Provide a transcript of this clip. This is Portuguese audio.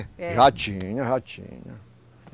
É. Já tinha, já tinha.